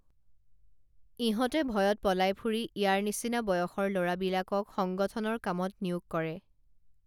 ইহঁতে ভয়ত পলাই ফুৰি ইয়াৰ নিচিনা বয়সৰ লৰাবিলাকক সংগঠনৰ কামত নিয়োগ কৰে